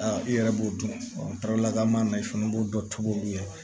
Aa i yɛrɛ b'o dɔn lakana na i fana b'o dɔ tobi olu ye